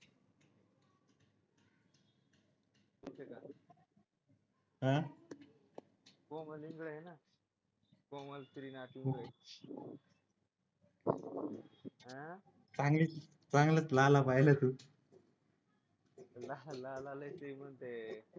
कोमल इंगळे आहे ना कोमल श्रीनाथ इंगळे चांगलीच चांगला लाला पहिला तू लाला लय श्रीमंत आहे